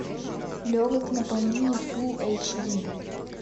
легок на помине фул эйч ди